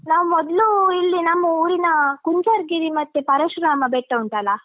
ನಾವು ಮೊದ್ಲು ಇಲ್ಲಿ ನಮ್ಮ ಊರಿನ ಕುಂಜಾರುಗಿರಿ ಮತ್ತೆ ಪರಶುರಾಮ ಬೆಟ್ಟ ಉಂಟಲ್ಲ.